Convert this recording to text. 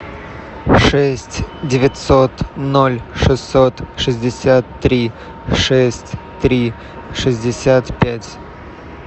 шесть девятьсот ноль шестьсот шестьдесят три шесть три шестьдесят пять